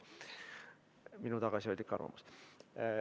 See on minu tagasihoidlik arvamus.